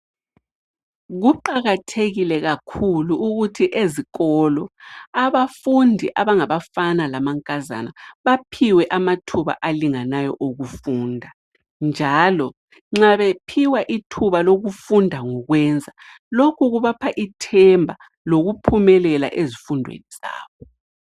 Kuqakathekile kakhulu ukuthi ezikolo, abafundi abangabafana lamankazana baphiwe amathuba alinganayo okufunda, njalo nxa bephiwa ithuba lokufunda ngokwenza lokhu kubapha ithemba lokuphumelela ezifundweni zabo.